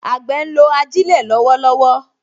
Àgbẹ̀ ń lo ajílẹ̀ lọ́wọ́lọ́wọ́